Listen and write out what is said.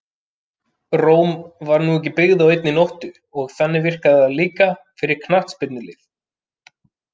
Róm var nú ekki byggð á einni nóttu og þannig virkar það líka fyrir knattspyrnulið.